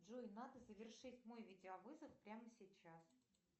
джой надо завершить мой видеовызов прямо сейчас